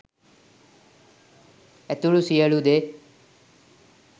ඇතුළු සියලු දේ